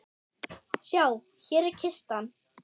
Sjá, hér er kistan.